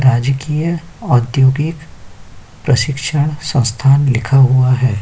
राजकीय आद्योगिक प्रशिक्षण संस्थान लिखा हुआ है।